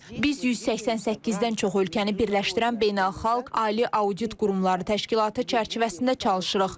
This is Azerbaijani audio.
Biz 188-dən çox ölkəni birləşdirən beynəlxalq ali audit qurumları təşkilatı çərçivəsində çalışırıq.